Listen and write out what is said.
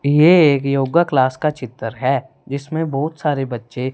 ये एक योगा क्लास का चित्र है जिसमें बहुत सारे बच्चे--